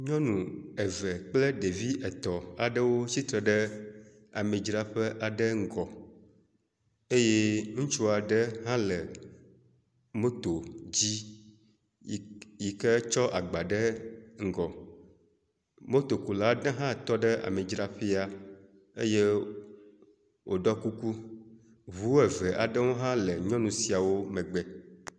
Nyɔnu eve kple ɖevi etɔ̃n aɖewo tsitre ɖe amidzraƒe aɖe ŋgɔ eye ŋutsu aɖe hã le moto dzi yi…k yi ke tsɔ agba ɖe ŋgɔ. Motokula ɖe hã tɔ ɖe amidzraƒea eye wòɖɔ kuku. Ŋu eve aɖewo hã le nyɔnu siawo megbe.